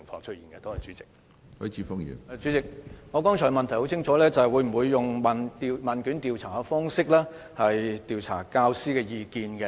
主席，我的補充質詢很清楚，局方會否用問卷調查的方式調查教師的意見？